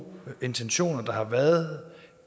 intentioner der har været